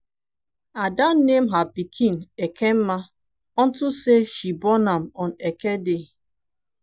ada name her pikin ekemma unto say she born am on eke day.